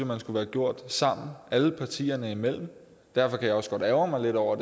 man skulle have gjort sammen alle partierne imellem derfor kan jeg også godt ærgre mig lidt over